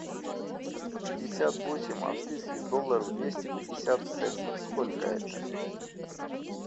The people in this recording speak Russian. пятьдесят восемь австрийских долларов двести пятьдесят центов сколько это